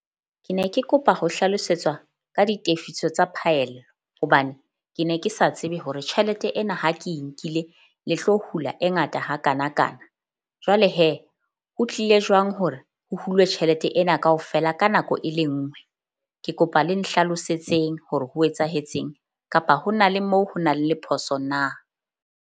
Ke ne ke kopa ho hlalosetswa ka ditefiso tsa phaello, hobane ke ne ke sa tsebe hore tjhelete ena ha ke e nkile le tlo hula e ngata hakanakana. Jwale ho tlile jwang hore ho hulwe tjhelete ena kaofela ka nako e le nngwe? Ke kopa le nhlalosetseng hore ho etsahetseng kapa ho na le moo ho nang le phoso na?